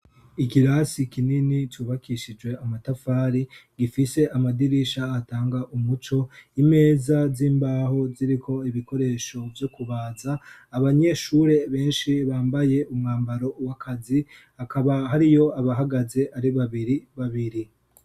Ikirasi kinini cubakishijwe amatafari gifise amadirisha atanga umuco. Imeza z'imbaho ziriko ibikoresho vyo kubaza. Abanyeshure benshi bambaye umwambaro w'akazi. Hakaba hariyo abahagaze ari babiri babiri.